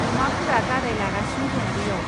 अमाफोरा गादाय लगासिनो दं बैयाव।